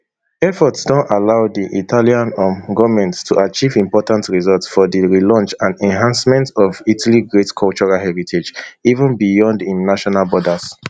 efforts don allow di italian um goment to achieve important result for di relaunch and enhancement of italy great cultural heritage even beyond im national borders